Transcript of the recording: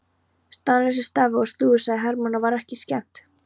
Staðlausir stafir og slúður sagði Hermann og var ekki skemmt.